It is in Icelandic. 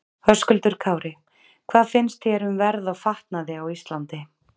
Höskuldur Kári: Hvað finnst þér um verð á fatnaði á Íslandi?